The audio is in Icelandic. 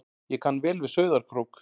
Ég kann vel við Sauðárkrók.